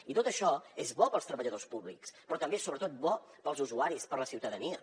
i tot això és bo per als treballadors públics però també és sobretot bo per als usuaris per a la ciutadania